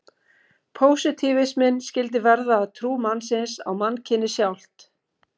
Pósitífisminn skyldi verða að trú mannsins á mannkynið sjálft.